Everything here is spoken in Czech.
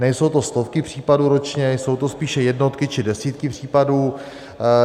Nejsou to stovky případů ročně, jsou to spíše jednotky či desítky případů.